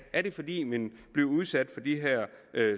er det fordi man bliver udsat for de her